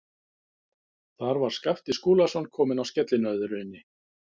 Þar var Skapti Skúlason kominn á skellinöðrunni.